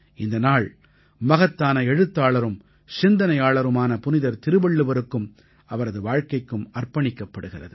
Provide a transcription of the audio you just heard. இந்த நாள் மகத்தான எழுத்தாளரும் சிந்தனையாளருமான புனிதர் திருவள்ளுவருக்கும் அவரது வாழ்க்கைக்கும் அர்ப்பணிக்கப்படுகிறது